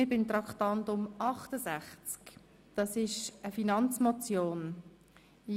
Wir kommen zu Traktandum 68, der Finanzmotion «